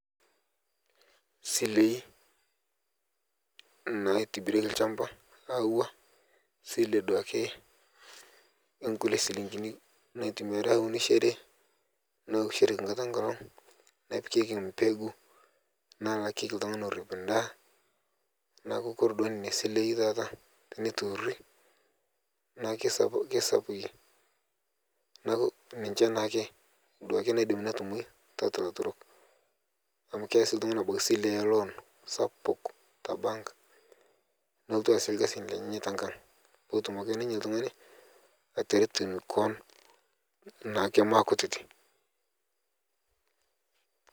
Silei naitibireki lshamba auwa sile duake enkule silingini natumiari aunishere nkata enkolog, nepikeki mbegu, nalakeki ltungani orip ndaa naaku kore duake nenia silei tata teneturi naaku keisapuki naaku ninche naake duake naaku keidimai notumoi tatua laturok amu keyau abaki ltungani sile eloon sapuk tabank nelotu aasie lkasin lenyenye tenkak petum ake ninye ltungani ateru koon naake makutiti.